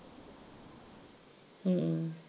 ਹਮ